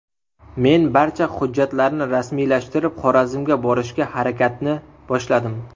Men barcha hujjatlarni rasmiylashtirib, Xorazmga borishga harakatni boshladim.